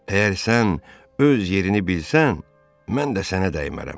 Əgər sən öz yerini bilsən, mən də sənə dəymərəm.